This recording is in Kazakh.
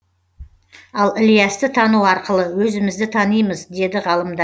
ал ілиясты тану арқылы өзімізді танимыз деді ғалымдар